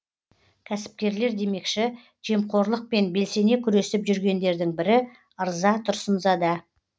кәсіпкерлер демекші жемқорлықпен белсене күресіп жүргендердің бірі ырза тұрсынзада